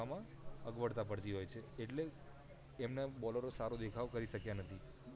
માં અગવડતા પડતી હોય છે એટલે એમના બોલરો સારો દેખાવ કરી શક્યા નથી